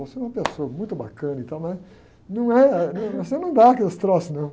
Você é uma pessoa muito bacana e tal, mas não é, você não dá aqueles troços, não.